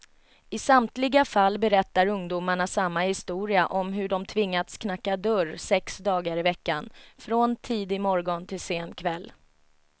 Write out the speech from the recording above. I samtliga fall berättar ungdomarna samma historia om hur de tvingats knacka dörr sex dagar i veckan, från tidig morgon till sen kväll.